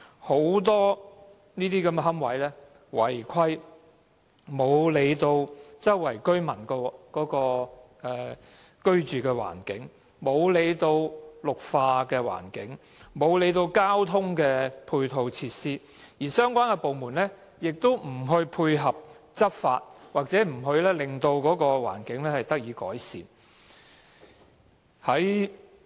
很多私營龕位違規，漠視附近居民的居住環境、綠化環境，忽略交通配套設施，而相關部門亦不配合執法，令環境得以改善。